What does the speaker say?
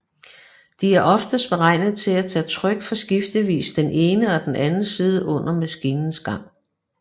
De er oftest beregnet til at tage tryk fra skiftevis den ene og den anden side under maskinens gang